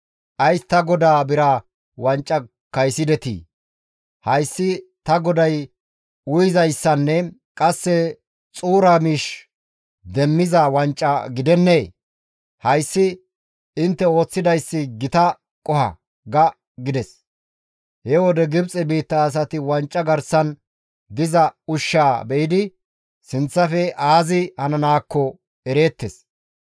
‹Ays ta godaa bira wanca kaysidetii? Hayssi ta goday uyizayssanne qasse xuura miish demmiza wanca gidennee? Hayssi intte ooththidayssi gita qoho› ga» gides. He wode Gibxe biitta asati wanca garsan diza ushshaa be7idi sinththafe aazi hananaakko ereettes.